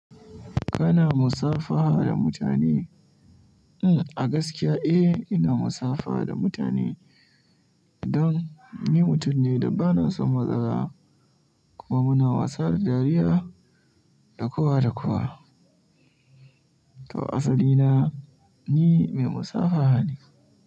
Kana musafaha da mutane? A gaskiya eh, ina musafaha da mutane don ni mutum ne da ba na son matsala kuma muna wasa da dariya da kowa da kowa. To asali na ni mai musafaha ne.